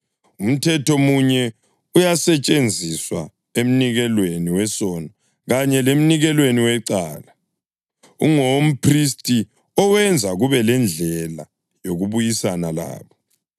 Umthetho munye uyasetshenziswa emnikelweni wesono kanye lemnikelweni wecala. Ungowomphristi owenza kube lendlela yokubuyisana labo.